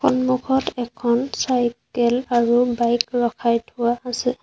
সন্মুখত এখন চাইকেল আৰু বাইক ৰখাই থোৱা আছে।